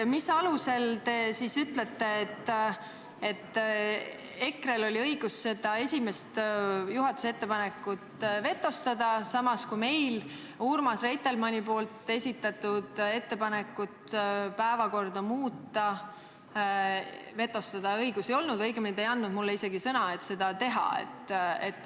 Mis alusel te ütlete, et EKRE-l oli õigus see esimene juhatuse ettepanek vetostada, samas kui meil Urmas Reitelmanni esitatud ettepanekut päevakorda muuta vetostada õigust ei olnud – või õigemini te ei andnud mulle isegi sõna, et seda teha?